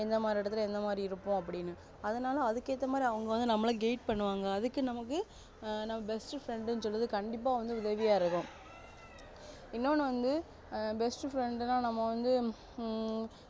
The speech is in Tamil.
எந்த மாதிரி இடத்துல எந்த மாதிரி இருப்போம்னு அதனால அதுக்கு ஏத்த போல அவங்க நம்மல guide பண்ணுவாங்க அதுக்கு நமக்கு நம்ம best friend னு சொல்றதுக்கு உதவியா இருக்கும் இன்னொன்னு வந்து best friend நா நம்ம வந்து ஹம்